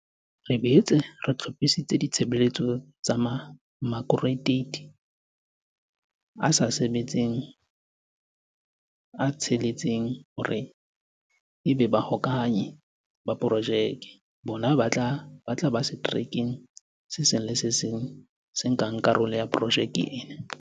Re boetse re hlo phisitse ditshebeletso tsa makratueiti a sa sebetseng a tsheletseng hore ebe Ba -hokahanyi ba Projeke. Bona ba tla ba seterekeng se seng le se seng se nkang karolo projekeng ena.